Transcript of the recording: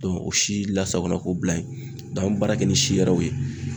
o si la sagona ko bila yen an bɛ baara kɛ ni si wɛrɛw ye.